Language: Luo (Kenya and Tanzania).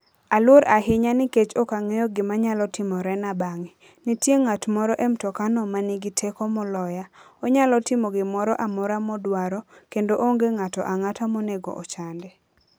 Aluor ahinya nikech ok ang'eyo gima nyalo timorena bang'e. Nitie ng'at moro e mtokano ma nigi teko moloya. Onyalo timo gimoro amora modwaro, kendo onge ng'ato ang'ata monego ochande.